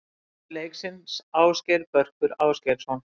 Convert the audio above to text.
Maður leiksins: Ásgeir Börkur Ásgeirsson.